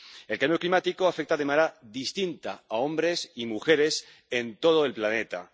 El cambio climático afecta de manera distinta a hombres y mujeres en todo el planeta.